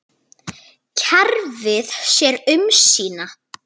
Kerfið sér um sína.